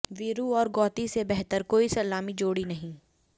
वीरू और गौती से बेहतर कोई सलामी जोड़ी नहीं